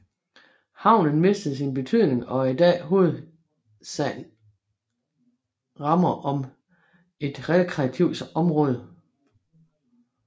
Havnen mistede sin betydning og er i dag hovedsagen rammer om et rekreativt område